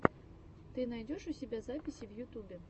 ты найдешь у себя записи в ютубе